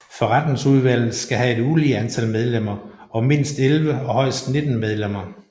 Forretningsudvalget skal have et ulige antal medlemmer og mindst 11 og højst 19 medlemmer